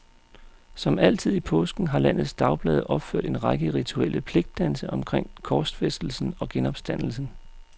Som altid i påsken har landets dagblade opført en række rituelle pligtdanse omkring korsfæstelsen og genopstandelsen.